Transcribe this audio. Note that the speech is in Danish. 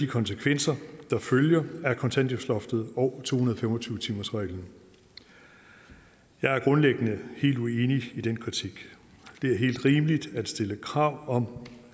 konsekvenser der følger af kontanthjælpsloftet og to hundrede og fem og tyve timersreglen jeg er grundlæggende helt uenig i den kritik det er helt rimeligt at stille krav om